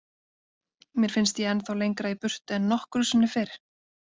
Mér finnst ég ennþá lengra í burtu en nokkru sinni fyrr.